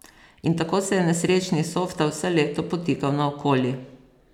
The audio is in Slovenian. In tako se je nesrečni Softa vse leto potikal naokoli.